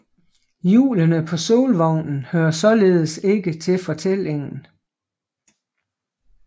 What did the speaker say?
Hjulene på solvognen hører således ikke til fortællingen